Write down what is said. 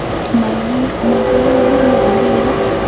Mangeme akilit.